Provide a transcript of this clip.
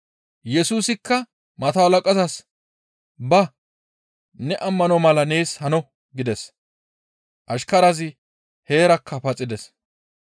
Yesusikka mato halaqazas, «Ba! Ne ammano mala nees hano» gides; ashkarazi heerakka paxides.